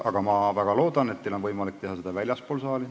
Ma väga loodan, et teil on võimalik teha seda väljaspool saali.